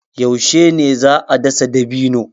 Yaushe ne za a dasa dabino?